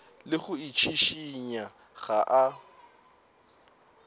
le go itšhišinya ga a